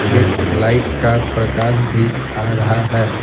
एक लाइट का प्रकाश भी आ रहा है।